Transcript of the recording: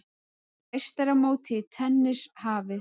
Meistaramótið í tennis hafið